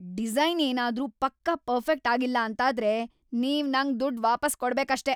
Design ಏನಾದ್ರೂ ಪಕ್ಕಾ perfect ಆಗಿಲ್ಲ ಅಂತಾದ್ರೆ, ನೀವ್ ನಂಗೆ ದುಡ್ಡ್‌ ವಾಪಸ್‌ ಕೊಡ್ಬೇಕಷ್ಟೇ.